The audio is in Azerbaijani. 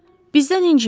Bizdən inciməyin.